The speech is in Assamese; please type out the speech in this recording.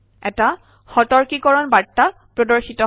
এটা সতৰ্কীকৰণ বাৰ্তা প্ৰদৰ্শিত হয়